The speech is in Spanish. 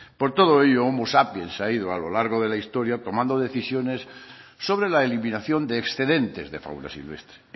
por todo ello homo sapiens ha ido a lo largo de la historia tomando decisiones sobre la eliminación de excedentes de fauna silvestre